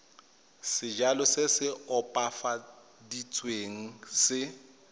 sejalo se se opafaditsweng se